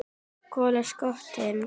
Kol og skattur